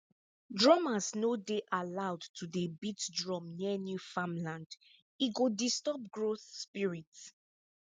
drummers no dey allowed to dey beat drum near new farmland e go disturb growth spirit